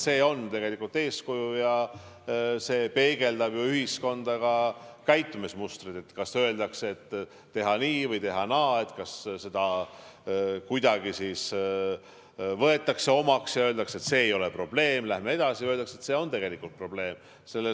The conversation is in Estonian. See on tegelikult eeskuju ja see peegeldab ühiskonda ka käitumismustreid, kas teha nii või teha naa, kas see kuidagi võetakse omaks ja öeldakse, et see ei ole probleem, läheme edasi, või öeldakse, et see on tegelikult probleem.